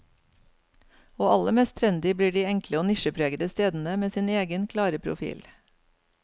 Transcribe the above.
Og aller mest trendy blir de enkle og nisjepregede stedene med sin egen, klare profil.